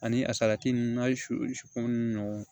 Ani a salati ninnu n'a ye su ko ni ɲɔgɔn ye